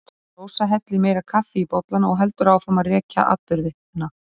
Rósa hellir meira kaffi í bollana og heldur áfram að rekja atburðina.